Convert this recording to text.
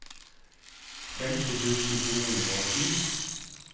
femti tusen to hundre og ti